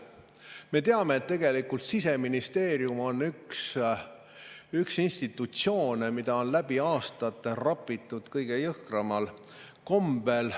Me teame, et Siseministeerium on üks institutsioone, mida on läbi aastate kõige jõhkramal kombel rapitud.